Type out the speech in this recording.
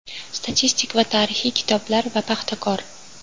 statistik va tarixiy kitoblar va Paxtakor.